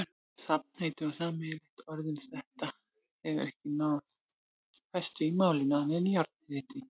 Safnheiti eða sameiginlegt orð um þetta hefur ekki náð festu í málinu, annað en jarðhiti.